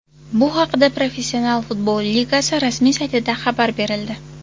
Bu haqida Professional futbol ligasi rasmiy saytida xabar berildi .